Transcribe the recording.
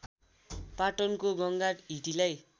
पाटनको गङ्गा हिटीलाई